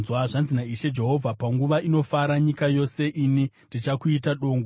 Zvanzi naIshe Jehovha: Panguva inofara nyika yose, ini ndichakuita dongo.